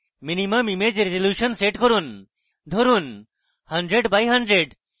minimum image resolution set করুন ধরুন 100 x 100